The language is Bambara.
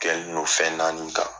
Kɛlen don fɛn naani kan.